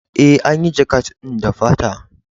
E, an yi jakat ɗin da fata.